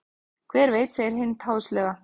Hver veit segir Hind háðslega.